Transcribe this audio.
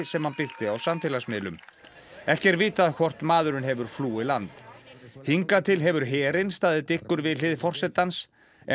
sem hann birti á samfélagsmiðlum ekki er vitað hvort maðurinn hefur flúið land hingað til hefur herinn staðið dyggur við hlið forsetans en